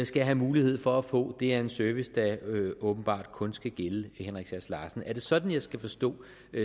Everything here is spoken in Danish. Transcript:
skal have mulighed for at få det er en service der åbenbart kun skal gælde henrik sass larsen er det sådan jeg skal forstå